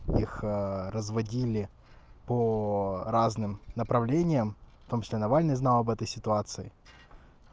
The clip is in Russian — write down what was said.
их разводили по разным направлениям в том числе навальный знал об этой ситуации